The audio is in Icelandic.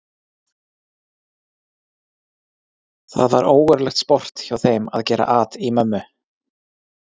Það var ógurlegt sport hjá þeim að gera at í mömmu.